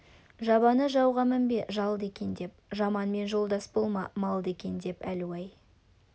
жабыны жауға мінбе жалды екен деп жаманмен жолдас болма малды екен деп әлу-ай